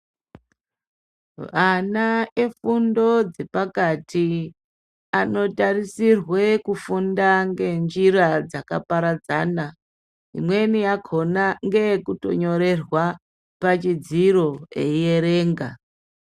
Ana efundo dzepakati anotarisirwe kufunda ngenjira dzakaparadzana. Imweni yakhona ngeyekutonyorerwa pachidziro ierenga.